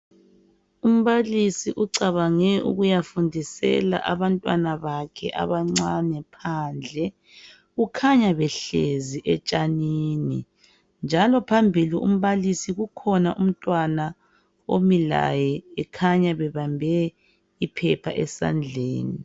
Umbalisi ucabange ukuyafundisela abantwana bakhe abancane phandle, kukhanya behlezi etshanini njalo phambili umbalisi kukhona umntwana omi laye ekhanya bebambe iphepha esandleni.